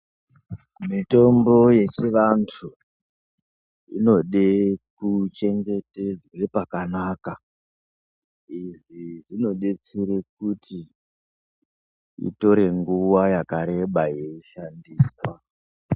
Mitombo yechivantu inode kuchengetedze pakanaka, izvi zvinodetsere kuti itore nguwa yakareba yeishandiswa.